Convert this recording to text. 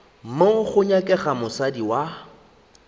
wo go nyakega mosadi wa